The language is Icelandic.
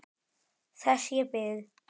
Þess ég bið.